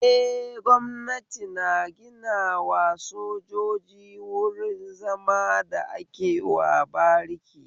Eh, gwamnati na ginawa sojoji wruin zama da akewa bariki